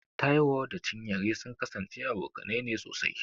Taiwo da Chinyere sun kasance abokanai ne sosai.